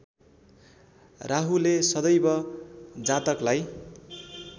राहुले सदैव जातकलाई